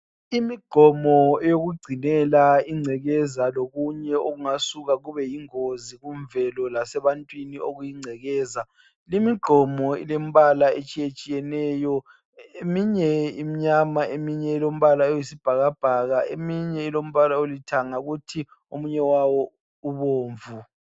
Imigqomo eyokugcinela ingcekeza lokunye okungasuka kube yingozi kumvelo lasebantwini okuyingcekeza, limigqomo ilemibala etshiye tshiyeneyo eminye imnyama eminye ilombala oyisibhakabhaka eminye ilombala olithanga kuthi omunye wawo ubomvu.